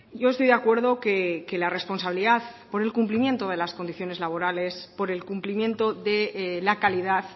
yo estoy de acuerdo que la responsabilidad por el cumplimiento de las condiciones laborales por el cumplimiento de la calidad